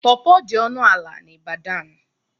Pọrpọr dị ọnụ ala n'Ibadan.